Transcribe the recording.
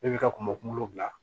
E bi ka kunba kuŋolo bila